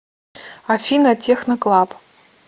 афина техно клаб